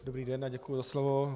Dobrý den a děkuji za slovo.